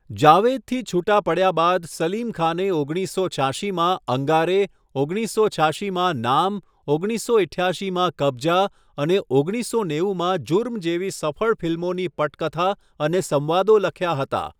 જાવેદથી છૂટા પડ્યા બાદ સલીમ ખાને ઓગણીસસો છ્યાશીમાં 'અંગારે', ઓગણીસસો છ્યાશીમાં 'નામ', ઓગણીસસો ઈઠ્યાશીમાં 'કબ્ઝા' અને ઓગણીસસો નેવુંમાં 'ઝુર્મ' જેવી સફળ ફિલ્મોની પટકથા અને સંવાદો લખ્યા હતા.